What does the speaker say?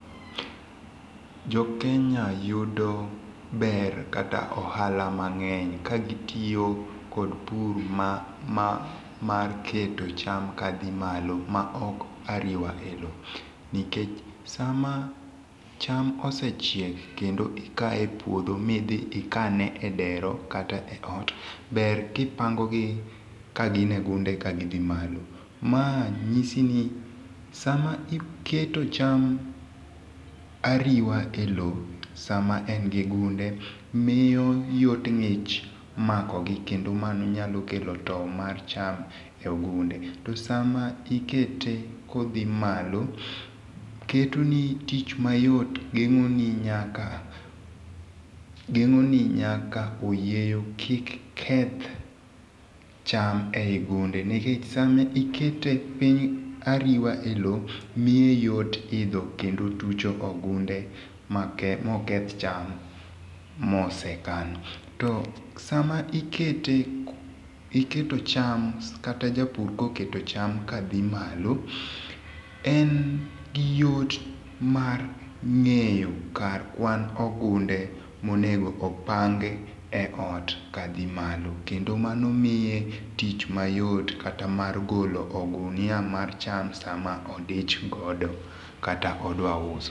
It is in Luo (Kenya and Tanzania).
Jokenya yudo ber kata ohala mang'eny ka gitiyo kod pur ma mar keto cham kadhi malo maok ariwa e loo nikech sama cham osechiek kendo ikaye e puodho midhi ikane e dero kata e ot ber kipangogi kagin e gunde kagidhi malo. ma nyisi ni sama iketo cham ariwa e loo sama en gi gunde miyo yot ng'ich makogi kendo mano nyalo kelo tow mar cham e gunde to sama ikete ka odhi malo ketoni tich mayot geng'oni nyaka geng'oni nyaka oyieyo kik keth cham ei gunde nikech sama ikete piny ariwa e loo miye yot idho kendo tucho ogunde ma oketh cham mosekan, to sama ikeot cham iketo cham, kata japur koketo cham kadhi malo en gi yot mar ng'eyo kar kwan ogunde monego okan e ot kadhi malo kendo mano miye tich mayot kata mar golo ogunia mar cham sama odich godo kata odwa uso